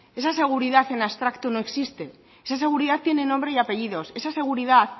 esa seguridad en abstracto no existe esa seguridad tiene nombre y apellidos esa seguridad